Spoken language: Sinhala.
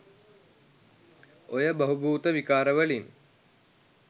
ඔය බහුබූත විකාර වලින්